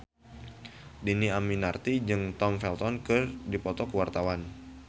Dhini Aminarti jeung Tom Felton keur dipoto ku wartawan